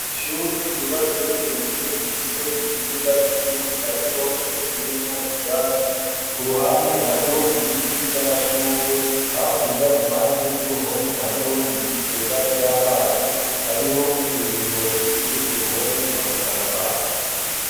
Nshuri ryubatse rigeretse rifise ikibuga kinini, ariko kitateyemwo ivyatsi ku ruhande hariho ibiti vy'amashurwe hakurya impande y'uruhome hariho ibigega vy'amazi hariho n'imiringoti iri ku ruhome imanukana amazi.